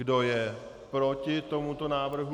Kdo je proti tomuto návrhu?